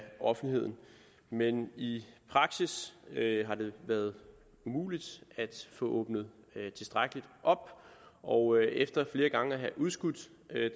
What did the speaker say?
offentligheden men i praksis har det været umuligt at få åbnet tilstrækkeligt op og efter flere gange at have udskudt